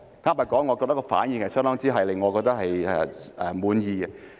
坦白說，我覺得他們的反應令我相當滿意。